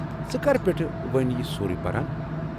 ژٕ کر پٮ۪ٹھہٕ ؤنۍ یہِ سورُے پران؟